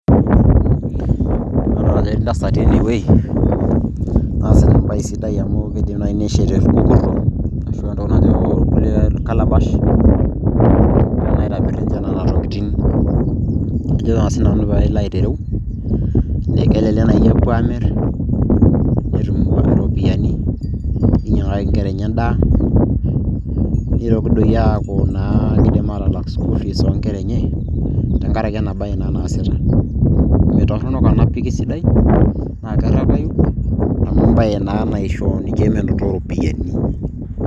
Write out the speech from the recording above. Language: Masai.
Adolita ajo etii intasati enewueji naasita embaye sidai amu keidim naaji neshet irkukurtok arashu entoki najo irkulie calabash egiraa naa ninche aitobir nena tokitin ajo naa siinanu peilo aitereu kelelek naaji epuo aamir netum iropiyiani neinyiang'aki inkera enye endaa neitoki doi aaku keidim aatalak school fees oonkera enye tenkaraki enabaye naa naasita meitoronok ena pi keisidai naa kerepayu amu embaye naa naisho ninche menoto iropiyiani.